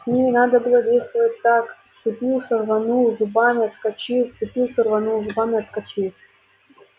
с ними надо было действовать так вцепился рванул зубами отскочил вцепился рванул зубами отскочил